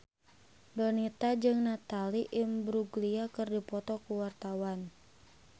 Donita jeung Natalie Imbruglia keur dipoto ku wartawan